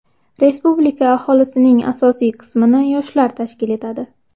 Respublika aholisining asosiy qismini yoshlar tashkil etadi.